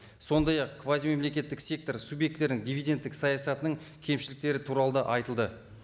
сондай ақ квазимемлекеттік сектор субъектілерінің дивидендтік саясатының кемшіліктері туралы да айтылды